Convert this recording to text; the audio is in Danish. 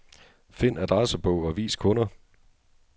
Find adressebog og vis kunder.